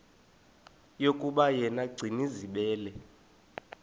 yokuba yena gcinizibele